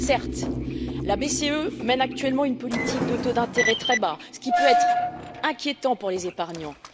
Certes, la BCE mène actuellement une politique de taux d'intérêt très bas, ce qui peut être inquiétant pour les épargnants.